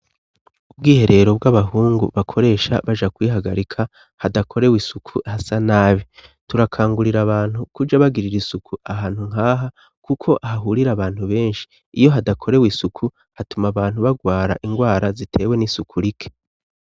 Ubwiherero bw'abahungu bakoresha baja kwihagarika hadakorewe isuku hasa nabi. Turakangurira abantu kuja bagirira isuku ahantu nkaha kuko hahurira abantu benshi. Iyo hadakorewe isuku hatuma abantu bagwara ingwara zitewe n'isuku rike.